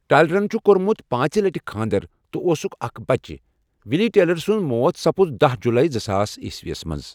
ٹایلرن چھُ کۄٚرمُت پانٛژِ لٹہ کھانٛدر تٕہ اوسُکھ اَکھ بچہ وِلی ٹایلر سٕنٛز موت سپٕژ دہہ جُلے زٕ ساس عیسویس مٕنٛز